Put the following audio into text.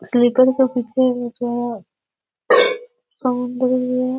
Sleeper के पीछे अच्छा काम दे रही है।